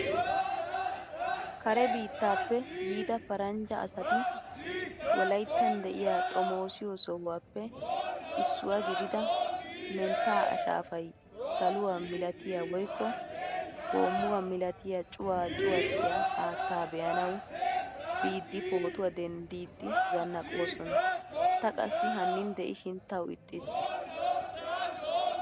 Kare biittaappe yiida paranjja asati wolayttan deiya xomosiyo sohuwaappe issuwaa gidida mentta ashaafay saluwaa milattiya woykko homuwaa milaattiya cuwaa cuwattiya haattaa beanawu biidi pootuwaa denddidi zannaqqoosona. Ta qassi hannin deishin tawu ixxiis.